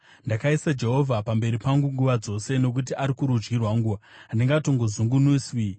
Ndakaisa Jehovha pamberi pangu nguva dzose. Nokuti ari kurudyi rwangu, handingatongozungunuswi.